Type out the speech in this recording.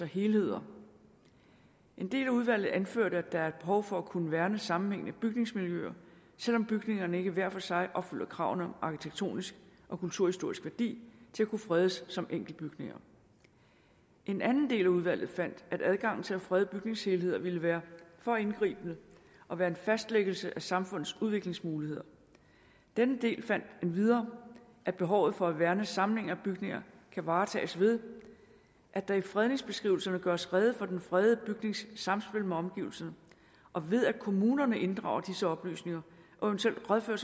helheder en del af udvalget anførte at der er et behov for at kunne værne om sammenhængende bygningsmiljøer selv om bygningerne ikke hver for sig opfylder kravene om arkitektonisk og kulturhistorisk værdi til at kunne fredes som enkeltbygninger en anden del af udvalget fandt at adgangen til at frede bygningshelheder ville være for indgribende og være en fastlæggelse af samfundets udviklingsmuligheder denne del fandt endvidere at behovet for at værne om samlinger af bygninger kan varetages ved at der i fredningsbeskrivelserne gøres rede for den fredede bygnings samspil med omgivelserne og ved at kommunerne inddrager disse oplysninger og eventuelt rådfører